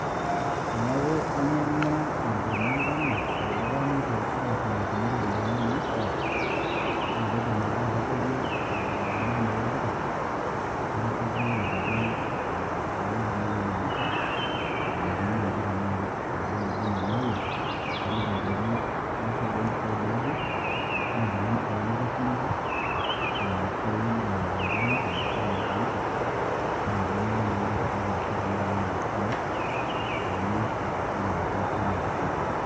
Neeku ainyang'ua enkurma enkano tolduka neitu aarrinyokini iropiyiani naishaa, na kaidim ake atabaiki olamirani lo duka, nainosaki ajoki ah aeuo nai ainyang'isho, ena kenaaji ashu esaa duo naba enaa enaewuo, naliki ajoki aishoo duo impisai naaje, na kuna impisai nikitorrinyoko. Ore nena pisai nelelek a keng'or ashu a azaidi, pa tenemana naa naiputaki ashu arrinyoki naa nena pisai, pe epurrui enaduo siana o mpisai ainei.